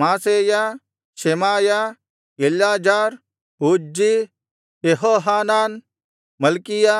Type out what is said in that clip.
Maaseiah Shemaiah Eleazar Uzzi Jehohanan Malchijah